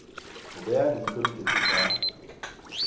ho bea leihlo diketso tsa